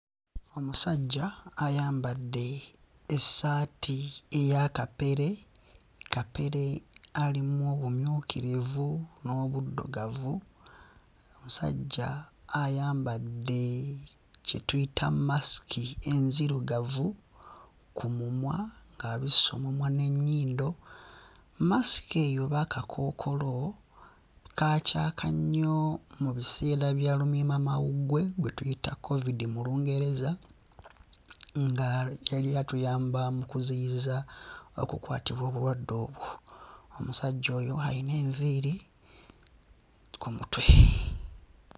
Omusajja ayambadde essaati eya kapere. Kapere alimu obumyukirivu n'obuddugavu. Musajja ayambadde kye tuyita masiki enzirugavu ku mumwa ng'abisse omumwa n'ennyindo. Masiki eyo oba akakookolo kaacaaka nnyo mu biseera bya lumiimamawuggwe gwe tuyita kkovidi mu Lungereza nga yali atuyamba mu kuziyiza okukwatibwa obulwadde obwo. Omusajja oyo ayina enviiri ku mutwe.